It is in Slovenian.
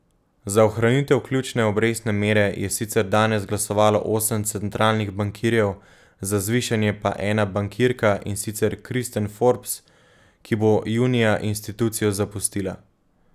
Za ohranitev ključne obrestne mere je sicer danes glasovalo osem centralnih bankirjev, za zvišanje pa ena bankirka, in sicer Kristin Forbes, ki bo junija institucijo zapustila.